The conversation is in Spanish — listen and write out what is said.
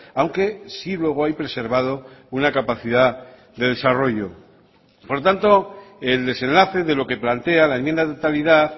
aunque sí luego hay preservado una capacidad de desarrollo por lo tanto el desenlace de lo que plantea la enmienda de totalidad